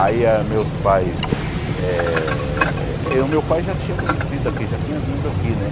Aí a meus pais eh... eh o meu pai já tinha conhecido aqui, já tinha vindo aqui, né?